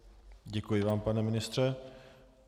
Děkuji vám, pane ministře.